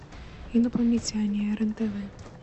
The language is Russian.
инопланетяне рен тв